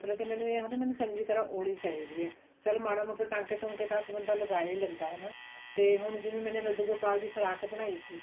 ਮਤਲਬ ਮੈਨੂੰ ਇਹ ਹੋਗਿਆ ਮੈਨੂੰ ਚੰਗੀ ਤਰ੍ਹਾਂ ਆਉਣੀ ਚਾਹੀਦੀ ਆ ਚਲ ਮਾੜੇ ਮੋਟੇ ਟਾਂਕੇ ਟੂਕੇ ਤਾਂ ਬੰਦਾ ਲਗਾ ਹੀ ਲੈਂਦਾ ਹਨਾ ਤੇ ਹੁਣ ਜਿਵੇਂ ਮੈਨੇ ਲੱਡੂ ਗੋਪਾਲ ਦੀ ਫਰਾਕ ਬਣਾਈ ਸੀ